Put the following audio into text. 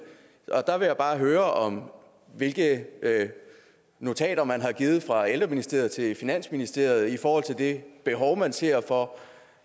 og der vil jeg bare høre hvilke notater man har givet fra ældreministeriet til finansministeriet i forhold til det behov man ser for